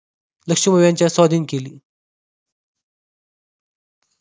लक्ष्मी बाई यांच्या स्वाधीन केली